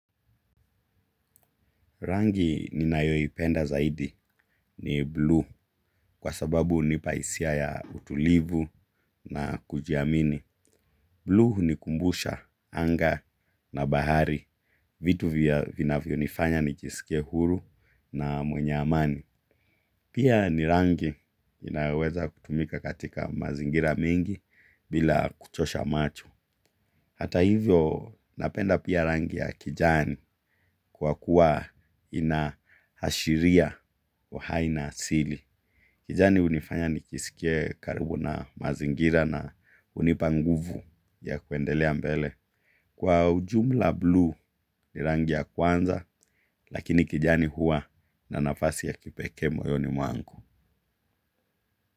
Rangi ninayoipenda zaidi ni blue kwa sababu hunipa hisia ya utulivu na kujiamini. Blue hunikumbusha anga na bahari vitu vinavyonifanya nijisikie huru na mwenye amani. Pia ni rangi inayoweza kutumika katika mazingira mengi bila kuchosha macho. Hata hivyo napenda pia rangi ya kijani kwa kuwa inaashiria. Uhai na asili. Kijani hunifanya nijisikie karibu na mazingira na hunipa nguvu ya kuendelea mbele. Kwa ujumla blue ni rangi ya kwanza lakini kijani huwa na nafasi ya kipekee moyoni mwangu.